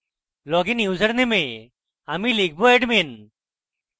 login ইউসারনেমে আমি লিখব admin